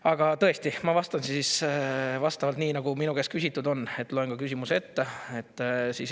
Aga tõesti, ma vastan siis nii, nagu minu käest küsitud on, et loen ka küsimuse ette.